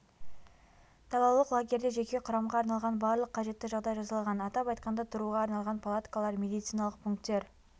далалық лагерьде жеке құрамға арналған барлық қажетті жағдай жасалған атап айтқанда тұруға арналған палаткалар медициналық пункттер